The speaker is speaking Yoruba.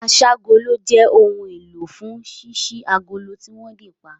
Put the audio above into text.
Aṣ'ágolo jẹ́ ohun èlò fún ṣíṣí agolo tí wọ́n dè pa